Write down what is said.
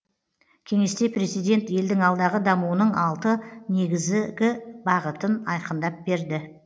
кеңесте президент елдің алдағы дамуының алты негізгі бағытын айқындап берді